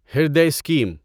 Hriday scheme